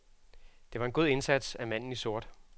Det var en god indsats af manden i sort.